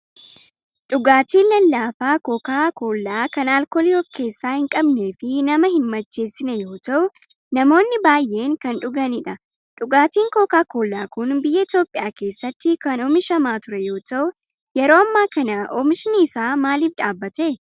Dhugaatiin lallaafaa Koka Kollaa kan alkoolii of keessaa hin qabnee fi nama hin macheessine yoo ta'u namoonni baay'een kan dhuganidha. Dhugaatiin Koka Kollaa kun biyya Itoopiyaa keessatti kan oomishamaa ture yoo ta'u yeroo ammaa kana oomishni isaa maaliif dhaabbate?